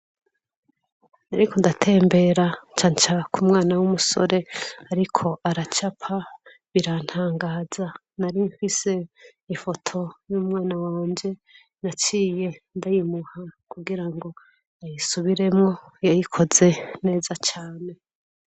Nariko ndatembera ncaca k'umwana w'umusore ariko aracapa birantangaza, nari mfise ifoto y'umwana wanje, naciye ndayimuha kugirango ayisubiremwo, yayikoze neza cane.